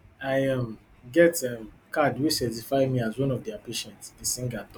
i um get um card wey certify me as one of dia patients di singer tok